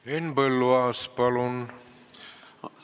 Henn Põlluaas, palun!